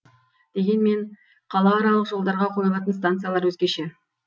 дегенмен қалааралық жолдарға қойылатын станциялар өзгеше